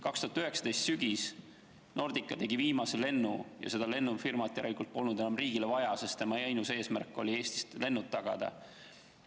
2019. aasta sügisel Nordica tegi viimase lennu ja seda lennufirmat järelikult polnud enam riigile vaja, sest tema ainus eesmärk oli Eestist lennud tagada.